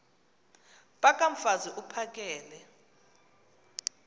phaka mfaz uphakele